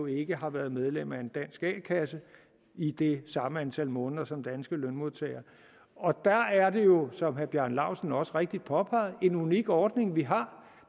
ikke har været medlem af en dansk a kasse i det samme antal måneder som danske lønmodtagere og der er det jo som herre bjarne laustsen også rigtigt påpegede en unik ordning vi har